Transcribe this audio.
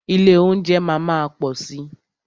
Ilé óúnjẹ máa má pọ̀ si.